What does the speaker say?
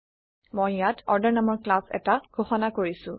মই ইয়াত অৰ্ডাৰ নামৰ ক্লাছ এটা ঘোষণা কৰিছো